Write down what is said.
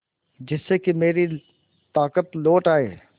जिससे कि मेरी ताकत लौट आये